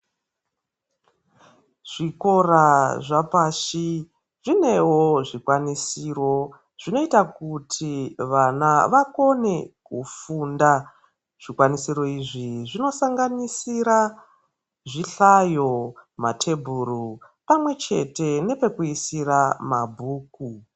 Zvikora zvapashi zvinewo zvikwanisiro zvinoita kuti vana vakone kufunda. Zvikwanisiro izvi zvinosanganisira zvihlayo, matebhuru pamwechete nepekuisira mabhuku.